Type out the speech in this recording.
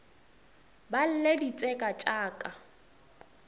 ba lle ditseka tša ka